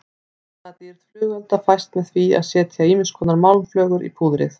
Litadýrð flugelda fæst með því að setja ýmiskonar málmflögur í púðrið.